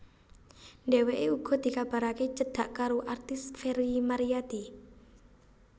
Dheweke uga dikabarake cedhak karo artis Ferry Maryadi